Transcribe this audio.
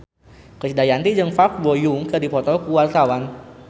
Krisdayanti jeung Park Bo Yung keur dipoto ku wartawan